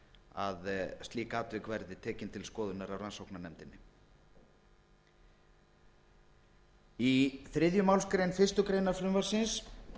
að slík atvik verði tekin til skoðunar af rannsóknarnefndinni í þriðju málsgrein fyrstu grein frumvarpsins